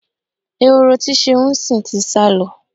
Ehoro tí Ṣeun ń sìn ti sá lọ.